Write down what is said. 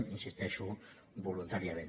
hi insisteixo voluntàriament